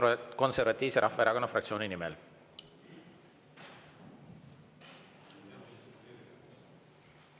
Eesti Konservatiivse Rahvaerakonna fraktsiooni nimel.